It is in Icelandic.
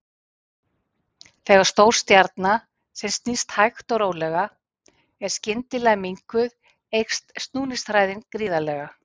Þegar stór stjarna sem snýst hægt og rólega er skyndilega minnkuð eykst snúningshraðinn gríðarlega.